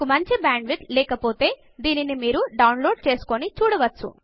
మీకు మంచి bandwidth లేకపోతే మీరు దానిని డౌన్ లోడ్ చేసుకుని చూడవచ్చు